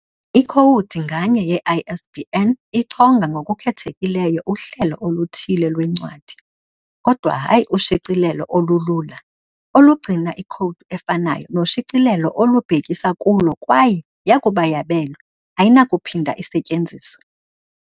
Ikhowudi nganye ye-ISBN ichonga ngokukhethekileyo uhlelo oluthile lwencwadi, kodwa hayi ushicilelo olulula, olugcina ikhowudi efanayo noshicilelo olubhekisa kulo, kwaye, yakuba yabelwe, ayinakuphinda isetyenziswe.